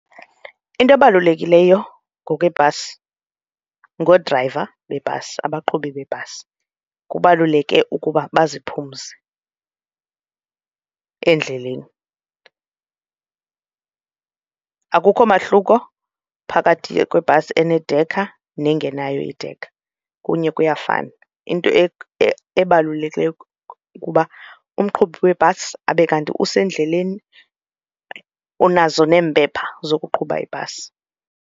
Into ebalulekileyo ngokweebhasi ngoodrayiva beebhasi abaqhubi beebhasi, kubaluleke ukuba baziphumze endleleni. Akukho mahluko phakathi kwebhasi enedekha nengenayo idekha kunye kuyafana into ebalulekileyo kuba umqhubi webhasi abe kanti usendleleni unazo neempepha zokuqhuba ibhasi.